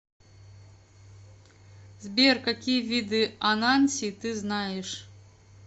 сбер какие виды ананси ты знаешь